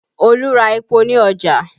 Olu ra epo ní ọjà